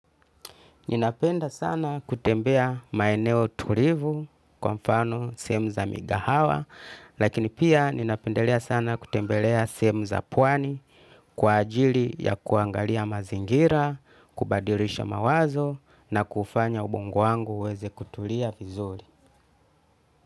Ninapenda sana kutembea maeneo tulivu, kwa mfano sehemu za migahawa lakini pia ninapendelea sana kutembelea sehemu za pwani kwa ajili ya kuangalia mazingira, kubadilisha mawazo na kufanya ubongo wangu uweze kutulia vizuri.